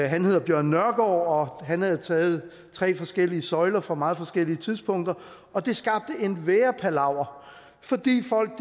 han hedder bjørn nørgaard og han havde taget tre forskellige søjler fra meget forskellige tidspunkter og det skabte en værre palaver fordi folk